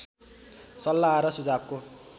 सल्लाह र सुझावको